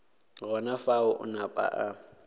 gona fao a napa a